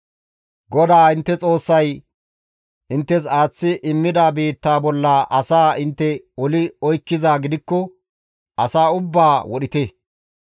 GODAA intte Xoossay inttes aaththi immida biitta bolla asaa intte oli oykkizaa gidikko asa ubbaa wodhite.